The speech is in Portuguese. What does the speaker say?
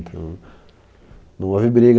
Então... Não houve briga.